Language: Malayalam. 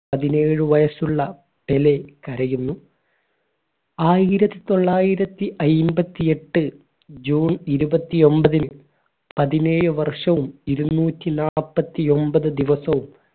പതിനേഴ് വയസ്സുള്ള പെലെ കരയുന്നു ആയിരത്തിത്തൊള്ളായിരത്തി അയ്ബത്തി എട്ട് june ഇരുപത്തിഒൻമ്പതിന് പതിനേഴ് വർഷവും ഇരുനൂറ്റി നാല്പത്തൊമ്പത് ദിവസവും